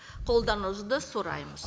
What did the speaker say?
қолдауыңызды сұраймыз